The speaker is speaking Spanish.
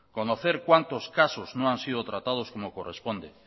conocer cuántos casos no han sido tratados como corresponde